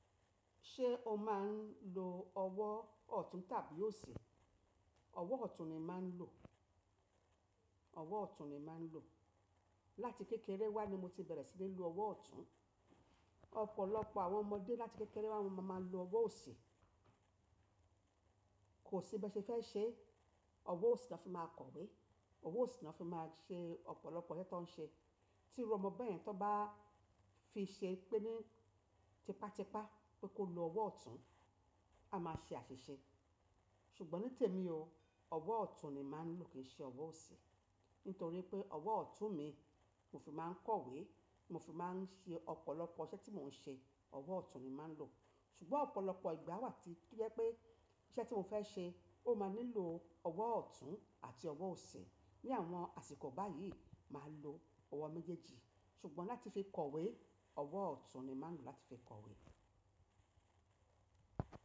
Ṣé o máa ń lo ọwọ́ ọ̀tún tàbí òsì? Ọwọ́ ọ̀tún ni màá ń lò. Ọwọ́ ọ̀tún ni màá ń lò. Láti kékeré wá ni mo ti bẹ̀rẹ̀ sí ní lo ọwọ́ ọ̀tún. Ọ̀pọ̀lọpọ̀ àwọn ọmọdé láti kékeré wá máa ń lo ọwọ́ òsì. Kò sí bẹ́ẹ̀ ṣe fẹ́ ṣe, ọwọ́ òsì ni wọ́n fi máa ń kọ̀wé, ọwọ́ òsì ni wọ́n fi máa ń ṣe ọ̀pọ̀lọpọ̀ iṣẹ́ tó ń ṣe. Tí irú ọmọ bẹ́ẹ̀ yẹn tó bá fi ṣe pé ní tipátipá pé kó lo ọwọ́ ọ̀tún, a máa ṣe àṣìṣe. Ṣùgbọ́n ní tèmi o, ọwọ́ ọ̀tún ni màá ń lò kì í ṣe ọwọ́ òsì. Nítorí pé ọwọ́ ọ̀tún mi mo fi máa ń kọ̀wé, mo fi máa ń ṣe ọ̀pọ̀lọpọ̀ iṣẹ́ tí mò ń ṣe, ọwọ́ ọ̀tún ni màá ń lò. Ṣùgbọ́n ọ̀pọ̀lọpọ̀ ìgbà wà tí bẹ́ pé iṣẹ́ tí mo fẹ́ ṣe ó máa nílò ọwọ́ ọ̀tún àti ọwọ́ òsì. Ni àwọn àsìkò báyìí, màá lo ọwọ́ méjèèjì. Ṣùgbọ́n láti fi kọ̀wé, ọwọ́ ọ̀tún ni màá ń lò láti fi kọ̀wé.